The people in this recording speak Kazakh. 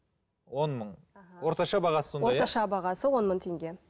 он мың орташа бағасы сондай орташа бағасы он мың теңге